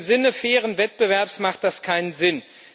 Im Sinne fairen Wettbewerbs macht das keinen Sinn.